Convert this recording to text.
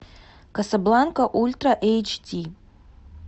касабланка ультра эйч ди